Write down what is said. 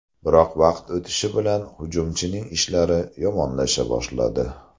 Biroq vaqt o‘tishi bilan hujumchining ishlari yomonlasha boshladi.